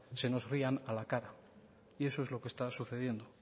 se nos rían a la cara y eso es lo que está sucediendo